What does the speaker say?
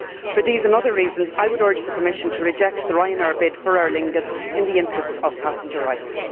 For these and other reasons, I would urge the Commission to reject the Ryanair bid for Aer Lingus in the interests of passenger rights.